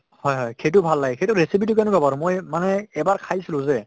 হয় হয়, সেইটো ভাল লাগে। সেইটো recipe তো কেনেকুৱা বাৰু মই মানে এবাৰ খাইছিলো যে